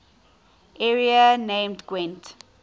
area named gwent